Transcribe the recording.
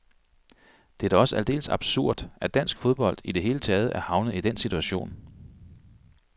Det er da også aldeles absurd, at dansk fodbold i det hele taget er havnet i den situation.